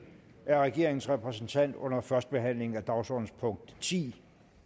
er regeringens repræsentant under førstebehandlingen af dagsordenens punkt ti